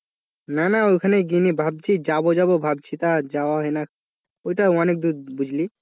না না ওখানে গেইনি ভাবছি যাব যাব ভাবছি তা যাওয়া হয় না ওইটা অনেকদূর বুঝলি?